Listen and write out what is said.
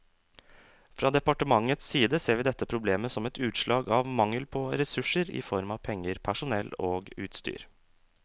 Fra departementets side ser vi dette problemet som et utslag av mangel på ressurser i form av penger, personell og utstyr.